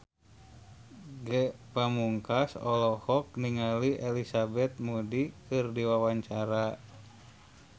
Ge Pamungkas olohok ningali Elizabeth Moody keur diwawancara